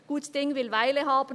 Gut Ding will Weile haben.